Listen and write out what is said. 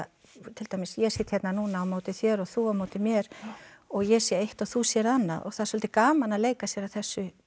til dæmis ég sit hérna núna á móti þér og þú á móti mér og ég sé eitt og þú sérð annað og það er svolítið gaman að leika sér að þessu